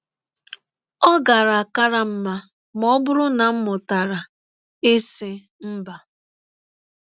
Ọ gaara kara m mma ma ọ bụrụ na m mụtara ịsị mba.